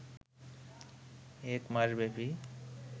এক মাসব্যাপী